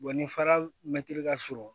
ni fara mɛtiri ka surun